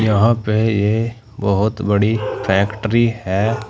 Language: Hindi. यहां पे है ये बहुत बड़ी फैक्ट्री है।